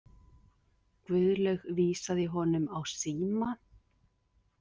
Guðlaug vísaði honum á síma.